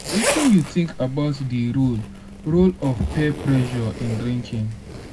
wetin you think about di role role of peer pressure in drinking?